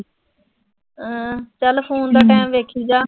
ਅਹ ਚਲ ਫੋਨ ਦਾ ਟਾਈਮ ਵੇਖੀ ਜਾ।